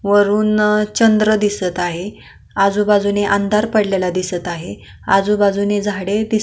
वरून चंद्र दिसत आहे आजूबाजूला अंधार दिसत आहेत आजूबाजूनी झाडे दिस --